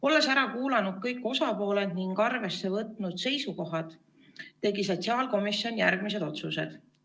Olles ära kuulanud kõik osapooled ning võtnud arvesse esitatud seisukohti, tegi sotsiaalkomisjon järgmised otsused.